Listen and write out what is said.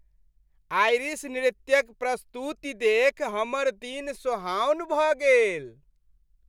Irish नृत्यक प्रस्तुति देखि हमर दिन सोहाओन भऽ गेल।